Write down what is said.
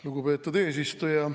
Lugupeetud eesistuja!